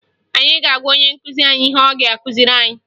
Anyị ga-agwa onye nkụzi anyị ihe ọ ga-akụziri anyị